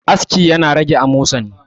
aski yana rage amosani